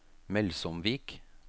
Melsomvik